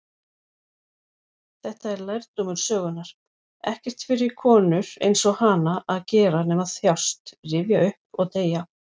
Þetta var lærdómur sögunnar: ekkert fyrir konur-einsog-hana að gera nema þjást, rifja upp, og deyja.